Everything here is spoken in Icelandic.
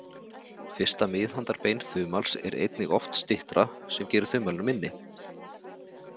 Fyrsta miðhandarbein þumals er einnig oft styttra, sem gerir þumalinn minni.